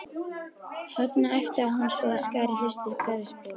Högna, æpti á hann svo að skar í hlustir hverfisbúa.